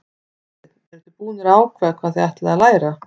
Hafsteinn: Eruð þið búnar að ákveða hvað þið ætlið að læra?